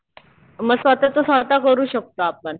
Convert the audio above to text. मग स्वतःच स्वतः करू शकतो आपण.